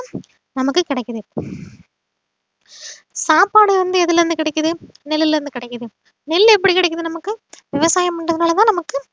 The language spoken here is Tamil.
நமக்கு கிடைக்குது சாப்பாடு வந்து எதுல இருந்து கிடைக்குது நெல்லிலிருந்து கிடைக்குது நெல் எப்படி கிடைக்குது நமக்கு விவசாயம் பண்றதுனாலதான் நமக்கு